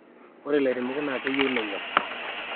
ore ilairemok naa keyieu nenyok